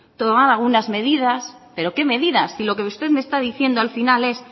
tomar algunas medidas pero qué medidas si lo que usted me está diciendo al final es